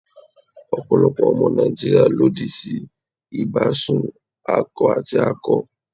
Ọ̀pọ̀lọpọ̀ ọmọ Nàìjíríà lòdì sí ìbásùn akọ àti akọ.